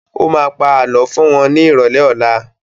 Ó má pa Àlọ́ fún wọn ní ìrọ̀lẹ́ ọlá